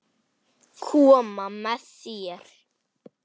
Koma með þér?